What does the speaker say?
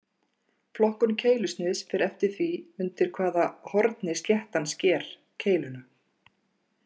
Flokkun keilusniðs fer eftir því undir hvaða horni sléttan sker keiluna.